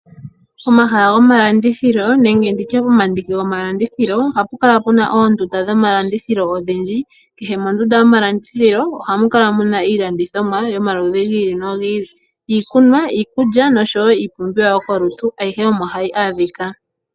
Omahala gwomalandithilo nenge nditye omandiki gwomalandithilo oha pukala oondunda dhomalandithilo odhindji. Kehe mondunda yomalandithilo oha mu kala muna iilandithomwa yomaludhi gi ili nogi ili, iikulya, iikunwa osho woo iipumbiwa yokolutu. Ayihe omo hayi adhika.